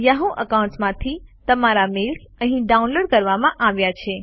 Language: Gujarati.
યાહૂ એકાઉન્ટમાંથી તમામ મેઇલ્સ અહીં ડાઉનલોડ કરવામાં આવ્યા છે